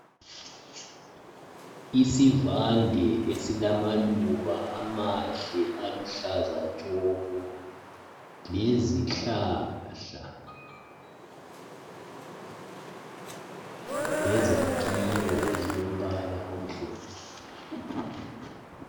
Isivande esilamaluba amahle aluhlaza tshoko lezihlahla lezakhiwo ezilombala omhlophe.